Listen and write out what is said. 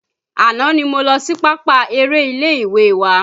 Àná ni mo lọ sí pápá eré ilé ìwé wa